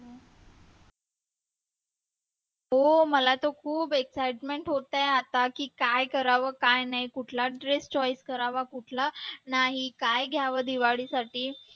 हो मला तर खूप excitement होत आहे आता की काय करावं काय नाही कुठला dress choice करावा कुठला नाही काय घ्यावं दिवाळीसाठी